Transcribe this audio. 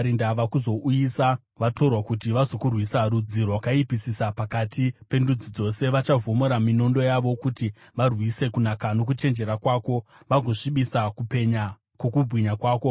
ndava kuzouyisa vatorwa kuti vazokurwisa, rudzi rwakaipisisa pakati pendudzi dzose, vachavhomora minondo yavo kuti varwise kunaka nokuchenjera kwako, vagosvibisa kupenya kwokubwinya kwako.